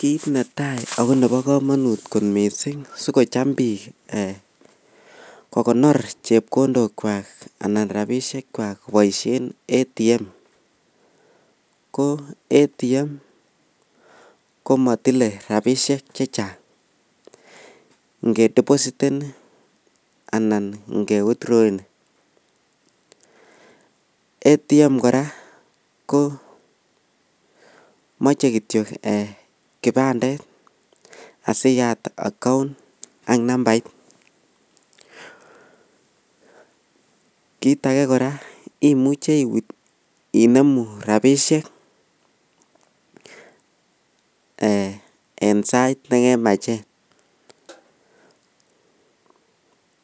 Kit netai ako neba kamanut kot mising sikocham bik kokonor chepkondok chwak anan rabinik chwak kobaishen ATM ko ATM komatile rabishek chechang ngedepositen anan kewitroweni ATM kora komache kityo kibandet asiyat account ak nambait kit age koraa imuche inemu rabishek en sait nekemachen